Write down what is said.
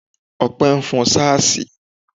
Opé nfon sáàsì